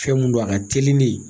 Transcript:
Fɛn mun don a ka teli de